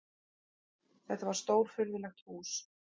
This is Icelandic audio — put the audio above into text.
Þetta var stórfurðulegt hús.